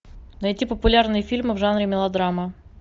найти популярные фильмы в жанре мелодрама